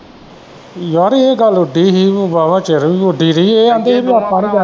ਯਾਰ ਇਹ ਗੱਲ ਉਡਦੀ ਹੀ ਵਾਵਾ ਚਿਰ ਉਡਦੀ ਰਹੀ ਸੀ ਇਹ ਆਂਦੇ ਸੀ ਕਿ ਆਪਾਂ